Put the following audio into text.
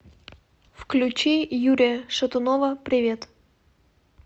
включи юрия шатунова привет